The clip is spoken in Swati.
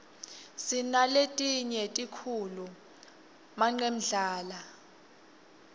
sinaletinye tikhulu manqemdlala